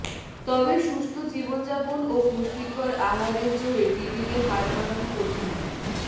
তবে সুস্থ জীবনযাপন ও পুষ্টিকর আহারের জোরে টিবিকে হার মানানো কঠিন নয়